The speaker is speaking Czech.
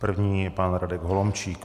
První je pan Radek Holomčík.